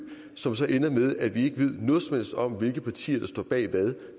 som så ender med at vi ikke ved noget som helst om hvilke partier der står bag hvad